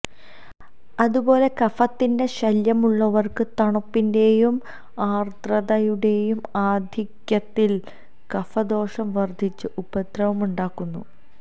അതുപോലെ കഫത്തിന്റെ ശല്യമുള്ളവര്ക്ക് തണുപ്പിന്റേയും ആര്ദ്രതയുടേയും ആധിക്യത്തില് കഫദോഷം വര്ദ്ധിച്ച് ഉപദ്രവമുണ്ടാകുന്നു